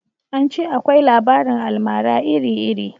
An ce akwai labarin almara iri iri